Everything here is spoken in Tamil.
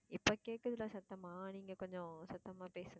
இப்போ கேக்குதுல சத்தமா நீங்க கொஞ்சம் சத்தமா பேசுங்க